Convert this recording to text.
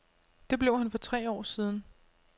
Det blev han for tre år siden.